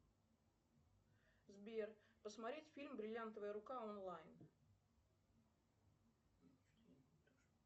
сбер посмотреть фильм бриллиантовая рука онлайн